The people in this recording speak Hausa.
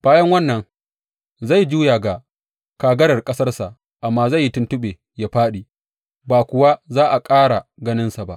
Bayan wannan, zai juya ga kagarar ƙasarsa, amma zai yi tuntuɓe yă fāɗi, ba kuwa za a ƙara ganinsa ba.